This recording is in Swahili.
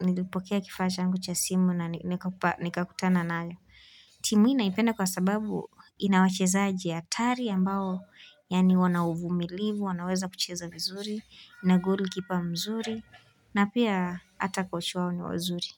nilipokea kifaa changu cha simu na nikakutana nayo. Timu hii naipenda kwa sababu ina wachezaji atari ambao yani wana uvumilivu, wanaweza kucheza vizuri. Na goal kipa mzuri na pia hata kochi wao ni wazuri.